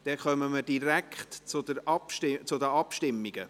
Damit kommen wir direkt zur Abstimmung.